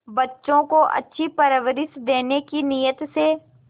बच्चों को अच्छी परवरिश देने की नीयत से